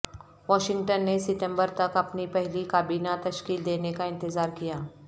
Washington نے ستمبر تک اپنی پہلی کابینہ تشکیل دینے کا انتظار کیا